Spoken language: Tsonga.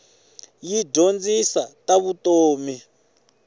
yi dyondzisa ta vutomi